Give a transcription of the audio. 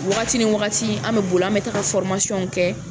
Wagati ni wagati an bɛ boli an bɛ taka kɛ.